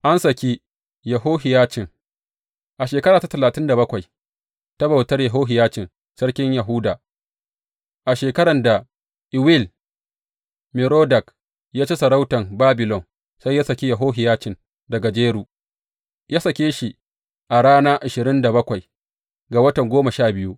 An saki Yehohiyacin A shekara ta talatin da bakwai ta bautar Yehohiyacin sarkin Yahuda, a shekaran da Ewil Merodak ya ci sarautan Babilon, sai ya saki Yehohiyacin daga jaru, ya sake shi a rana ashirin da bakwai ga watan goma sha biyu.